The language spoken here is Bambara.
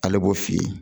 Ale b'o f'i ye